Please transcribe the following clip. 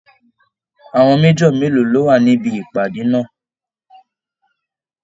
Àwọn Major mélòó ló wà níbi ìpàdé náà?